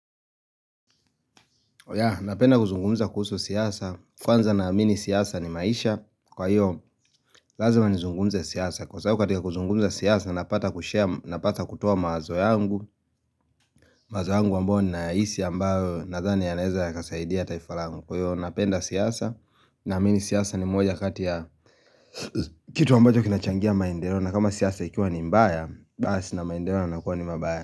Napenda kuzungumuza kuhusu siasa, kwanza na amini siasa ni maisha Kwa hiyo, lazima nizungumuze siasa Kwa sababu katika kuzungumuza siasa, napata kutoa mawazo yangu Napenda kuzungumuza kuhusu siasa, kwanza na amini siasa ni maisha Kwa hiyo, lazima nizungumuza siasa Kwa sababu katika kuzungumuza siasa, napata kutoa mawazo yangu mawazo yangu wamboni na hisi ambayo na zani ya leza ya kasaidia taifalangu Kwa hiyo, napenda siyasa, na amini siyasa ni moja katia.